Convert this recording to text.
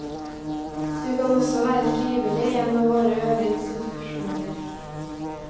Du kan også være frivillig i en av våre øvre institusjoner.